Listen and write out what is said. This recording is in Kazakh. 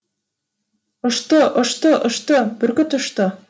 ұшты ұшты ұшты бүркіт ұшты